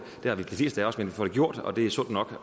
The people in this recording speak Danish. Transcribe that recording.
det har de fleste af os men vi får det gjort og det er sundt nok